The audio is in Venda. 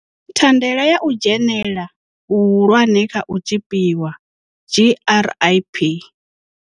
Thandela ya u dzhenela hu hulwane kha u tzhipiwa GRIP.